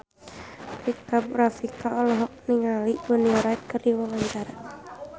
Rika Rafika olohok ningali Bonnie Wright keur diwawancara